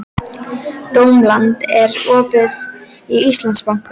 Dómald, er opið í Íslandsbanka?